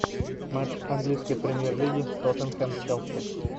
матч английской премьер лиги тоттенхэм челси